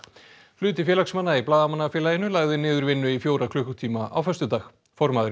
hluti félagsmanna í Blaðamannafélaginu lagði niður vinnu í fjóra klukkutíma á föstudag formaðurinn